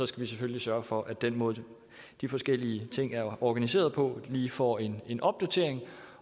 selvfølgelig sørge for at den måde de forskellige ting er organiseret på lige får en en opdatering